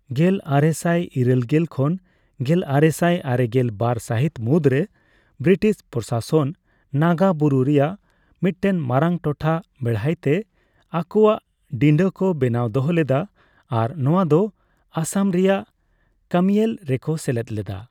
ᱜᱮᱞᱤᱨᱟᱹᱞᱥᱟᱭ ᱤᱨᱟᱹᱞᱜᱮᱞ ᱠᱷᱚᱱ ᱜᱮᱞᱟᱨᱮᱥᱟᱭ ᱟᱨᱮᱜᱮᱞ ᱵᱟᱨ ᱥᱟᱹᱦᱤᱛ ᱢᱩᱫᱽᱨᱮ, ᱵᱨᱤᱴᱤᱥ ᱯᱨᱚᱥᱟᱥᱚᱱ ᱱᱟᱜᱟ ᱵᱩᱨᱩ ᱨᱮᱭᱟᱜ ᱢᱤᱫᱴᱮᱱ ᱢᱟᱨᱟᱝ ᱴᱚᱴᱷᱟ ᱵᱮᱲᱦᱟᱭᱛᱮ ᱟᱠᱚᱣᱟᱜ ᱰᱤᱸᱰᱟᱹ ᱠᱚ ᱵᱮᱱᱟᱣ ᱫᱚᱦᱚ ᱞᱮᱫᱟ ᱟᱨ ᱱᱚᱣᱟ ᱫᱚ ᱟᱥᱟᱢ ᱨᱮᱭᱟᱜ ᱠᱟᱹᱢᱤᱭᱮᱞ ᱨᱮᱠᱚ ᱥᱮᱞᱮᱫ ᱞᱮᱫᱟ ᱾